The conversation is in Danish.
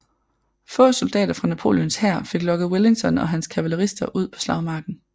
Få soldater fra Napoleons hær fik lokket Wellington og hans kavalerister ud på slagmarken